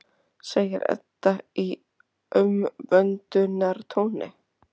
segir Edda í umvöndunartóni.